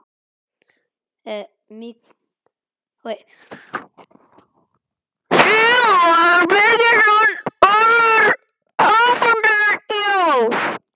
Símon Birgisson: Hver verður hápunkturinn í ár?